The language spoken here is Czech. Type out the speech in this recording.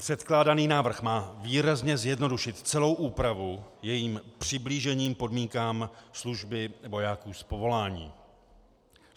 Předkládaný návrh má výrazně zjednodušit celou úpravu jejím přiblížením podmínkám služby vojáků z povolání.